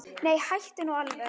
Nei, hættu nú alveg!